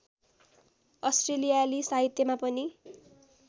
अस्ट्रेलियाली साहित्यमा पनि